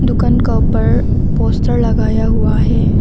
दुकान का ऊपर पोस्टर लगाया हुआ है।